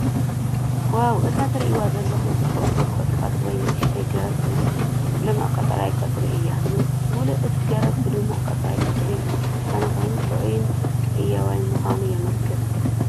ዋው! እቲ ትርእይዎ ዘለኹም ጽብቕቲ ቁጥቋጥ ወይ ንእሽቶ ገረብ ምስ ልሙዕ ቀጠልያ ቆጽሊ እዩ። ምሉእ እቲ ገረብ ብድሙቕ ቀጠልያ ቆጽሊ ዝተሸፈነ ኮይኑ፡ ጥዑይን ህያውን ምዃኑ የመልክት።